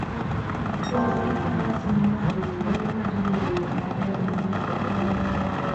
Wuotho gi faras miyo ng'ato thuolo mar yiero yo maber monego oluw.